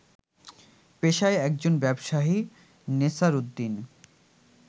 পেশায় একজন ব্যবসায়ী নেসার উদ্দিন